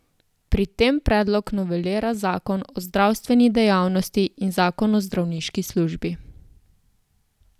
Pri tem predlog novelira zakon o zdravstveni dejavnosti in zakon o zdravniški službi.